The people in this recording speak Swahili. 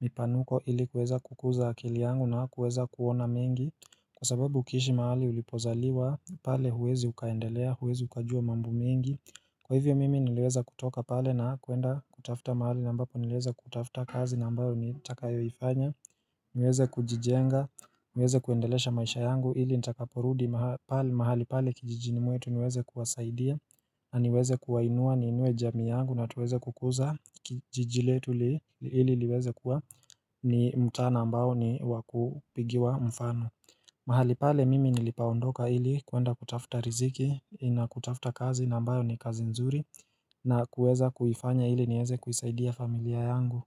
mipanuko ili kuweza kukuza akili yangu na kuweza kuona mingi Kwa sababu ukishi mahali ulipozaliwa pale huwezi ukaendelea, huwezi ukajua mambo mingi Kwa hivyo mimi nileweza kutoka pale na kuenda kutafta mahali ambapo niliweza kutafta kazi na ambayo nitakayoifanya niweze kujijenga, niweze kuendelesha maisha yangu ili nitakaporudi mahali pale kijijini mwetu niweze kuwasaidia na niweze kuwainua ni inue jami yangu na tuweze kukuza kijijiletu ili liweze kuwa ni mtaa ambayo ni wakupigiwa mfano mahali pale mimi nilipoondoka ili kuenda kutafuta riziki na kutafuta kazi na ambayo ni kazi nzuri na kueza kufanya ili nieze kuisaidia familia yangu.